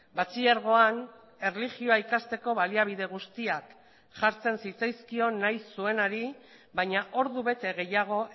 batxilergoan erlijioa ikasteko baliabide guztiak jartzen zitzaizkion nahi zuenari baina ordubete gehiago